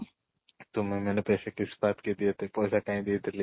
ତୁମେ ମାନେ ପଇସା କାଇଁ ଦେଇ ଥିଲି